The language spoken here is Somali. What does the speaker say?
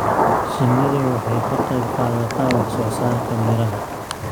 Shinnidu waxay ka qayb qaadataa wax soo saarka miraha.